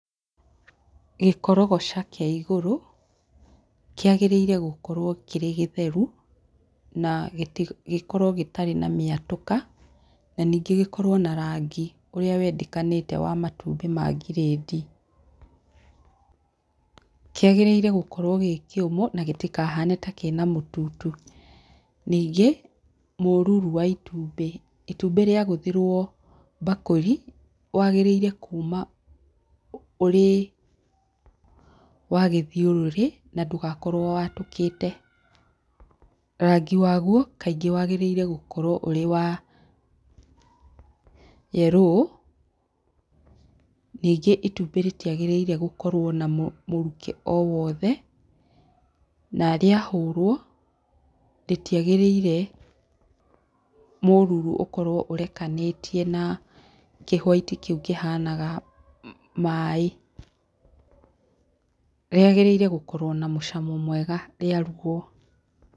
Gĩkogocha kĩa igũrũ kĩagĩrĩirwo nĩ gũkorwo kĩrĩ gĩtheru, na gĩkorwo gĩtarĩ na mĩatũka na ningĩ gĩkorwo na rangi ũrĩa wendekanĩte wa matumbĩ ma grade kĩagĩrĩire gũkorwo gĩkĩũmũ na gĩtikahane ta kĩna mũtutu, ningĩ mũruru wa itumbĩ, itumbĩ rĩa gũthĩrwo mbakũri wagĩrĩire kuuma ũrĩ wa gĩthiũrũrĩ na ndũgakorwo watũkĩte, rangi waguo kaingĩ wagĩrĩire gũkorwo ũrĩ wa yellow ningĩ itumbĩ rĩtiagĩrĩirwo gũkorwo na mũrukĩ o wothe na rĩa hũrwo rĩtiagĩrĩire mũruru ũrekanĩtie na kĩ white kĩu kĩhanaga maĩ, rĩagĩrĩirwo gũkorwo na mũcamo mwega rĩarugwo.